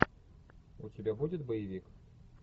у тебя будет боевик